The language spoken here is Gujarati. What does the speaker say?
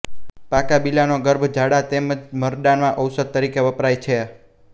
પાકાં બીલાંનો ગર્ભ ઝાડા તેમ જ મરડામાં ઔષધ તરીકે વપરાય છે